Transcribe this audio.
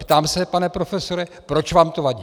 Ptám se, pane profesore, proč vám to vadí.